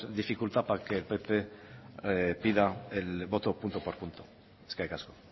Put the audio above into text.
dificultad para que el pp pida el voto punto por punto eskerrik asko